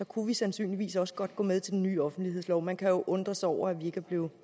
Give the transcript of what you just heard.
kunne vi sandsynligvis også godt gå med til den nye offentlighedslov man kan jo undre sig over at vi ikke er blevet